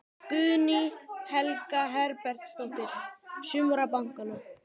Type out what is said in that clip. Guðný Helga Herbertsdóttir: Sumra bankanna?